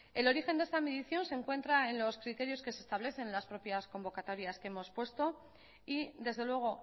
el origen de esta medición se encuentra en los criterios que se establecen en las propias convocatorias que hemos puesto y desde luego